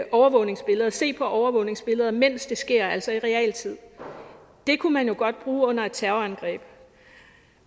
overvågningsbilleder og se på overvågningsbilleder mens det sker altså i realtid det kunne man jo godt bruge under et terrorangreb